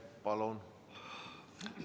Palun!